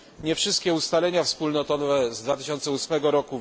Nie wszystkie ustalenia wspólnotowe z 2008 r.